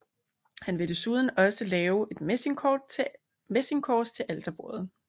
Han vil desuden også lavet et messingkors til alterbordet